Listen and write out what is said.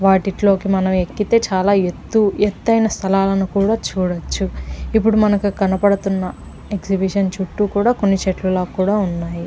వాటిల్లోకి మనం ఎక్కితే చాలా ఎత్తు ఎత్తైన స్థలాలను కూడా చూడచ్చు ఇప్పుడు మనకు కనపడతున్న ఎక్సిబిషన్ చుట్టూ కూడా కొన్ని చెట్ల లాగా కూడా ఉన్నాయి.